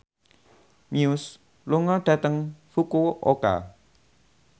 Muse lunga dhateng Fukuoka